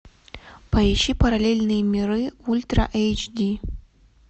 поищи параллельные миры ультра эйч ди